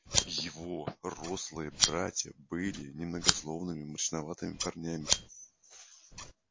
его рослые братья были немногословными мрачноватыми парнями